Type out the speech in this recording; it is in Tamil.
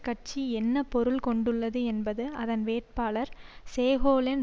கட்சி என்ன பொருள் கொண்டுள்ளது என்பது அதன் வேட்பாளர் செகோலென்